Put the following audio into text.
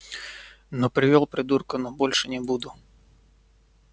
ну привёл придурка но больше не буду